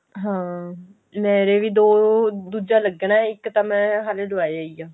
ਹਾਂ ਮੇਰੇ ਵੀ ਦੋ ਦੁੱਜਾ ਲੱਗਣਾ ਇੱਕ ਤਾਂ ਮੈਂ ਹਾਲੇ ਲਵਾਇਆ ਹੀ ਆ